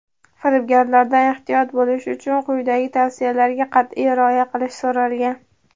Firibgarlardan ehtiyot bo‘lish uchun quyidagi tavsiyalarga qat’iy rioya qilish so‘ralgan:.